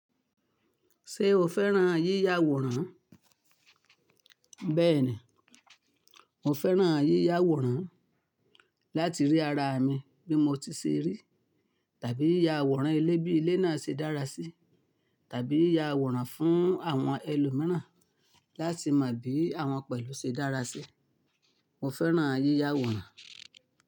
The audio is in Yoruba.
Ṣé o fẹ́ràn yíyawòrán? Bẹ́ẹ̀ni, mo fẹ́ràn yíyàwòrán láti rí ara mi bí mo ti ṣe rí, tàbí ya àwòrán ilé bí ilé náà ṣe dára sí, tàbí ya àwòrán fún àwọn ẹlòmíràn láti mọ bí àwọn pẹ̀lú ṣe dára sí. Mo fẹ́ràn yíya àwòrán.